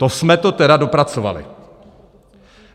To jsme to tedy dopracovali!